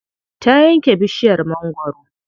Ta yanke bishiyar mangwaro.